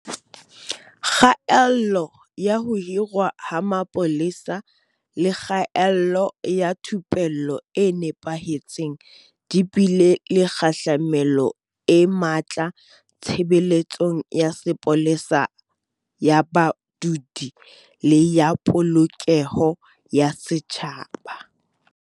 Kgaello ya ho hirwa ha mapolesa le kgaello ya thupello e nepahetseng di bile le kgahlamelo e matla tshebeletsong ya sepolesa ya badudi le ya Polokeho ya Setjhaba.